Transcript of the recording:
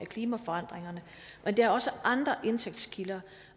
klimaforandringerne men der er også andre indtægtskilder